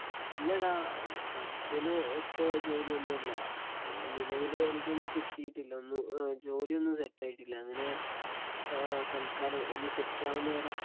ഇല്ലടാ പഠിച്ചേലൊത്ത ജോലിയൊന്നും അല്ല നിലവിലെ എനിക്കൊന്നും കിട്ടീട്ടില്ല ഒന്നും ജോലിയൊന്നും സെറ്റായിട്ടില്ല അങ്ങനെ ആ തൽക്കാലം ഒന്ന് സെറ്റാവുന്ന വരെ